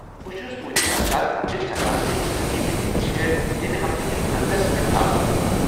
بہٕ چھُس تُہٕنٛدِ خدشات سمجتھ ہیكان ، تہٕ انتنظٲمی میٖٹنگ چھےٚ ییٚمہِ ہفتہٕ کس انٛدس پٮ۪ٹھ تھاونہٕ آمژٕ۔